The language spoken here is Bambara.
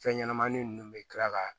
Fɛn ɲɛnɛmani nunnu bɛ tila ka